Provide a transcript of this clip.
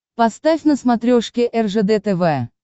поставь на смотрешке ржд тв